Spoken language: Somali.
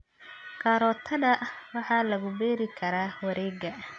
Karootada waxaa lagu beeri karaa wareeg.